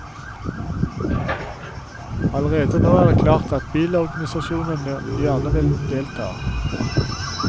Allerede nå er det klart at bilorganisasjonene gjerne vil delta.